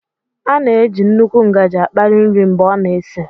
A na-eji nnukwu ngaji akpali nri mgbe ọ na-esi